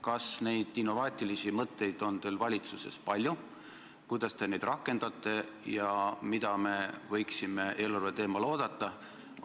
Kas neid innovaatilisi mõtteid on teil valitsuses palju, kuidas te neid rakendate ja mida me võiksime eelarveteemal oodata?